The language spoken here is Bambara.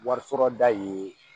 Wari sɔrɔ da ye